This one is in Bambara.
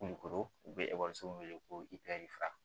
Kulukoro u bɛ ekɔlisow wele ko ipɛrfi